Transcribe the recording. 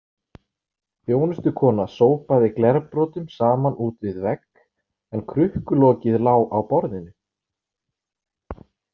Þjónustukona sópaði glerbrotum saman út við vegg en krukkulokið lá á borðinu.